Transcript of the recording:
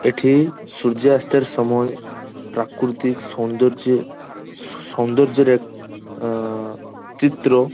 এঠি সূর্যাস্তের সময় প্রাক্রুতিক সৌন্দর্যে সৌন্দর্যের এক আ-আ চিত্র।